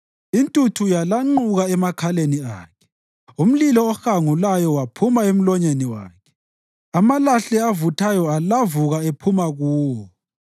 Intuthu yalanquka emakhaleni Akhe umlilo ohangulayo waphuma emlonyeni wakhe, amalahle avuthayo alavuka ephuma kuwo.